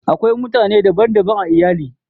Akwai mutane dban daban a iyali